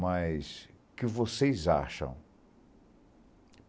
Mas, o que vocês acham?